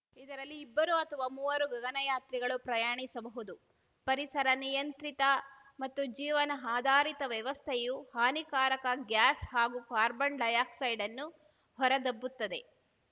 ಇದರಲ್ಲಿ ಇಬ್ಬರು ಅಥವಾ ಮೂವರು ಗಗನಯಾತ್ರಿಗಳು ಪ್ರಯಾಣಿಸಬಹುದು ಪರಿಸರ ನಿಯಂತ್ರಿತ ಮತ್ತು ಜೀವನ ಆಧಾರಿತ ವ್ಯವಸ್ಥೆಯು ಹಾನಿಕಾರಕ ಗ್ಯಾಸ್‌ ಹಾಗೂ ಕಾರ್ಬನ್‌ ಡೈಆಕ್ಸೈಡನ್ನು ಹೊರದಬ್ಬುತ್ತದೆ